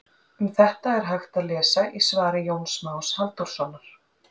Um þetta er hægt að lesa í svari Jóns Más Halldórssonar.